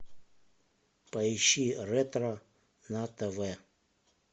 поищи ретро на тв